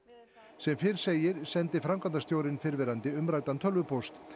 sem fyrr segir sendi framkvæmdastjórinn fyrrverndi umræddan tölvupóst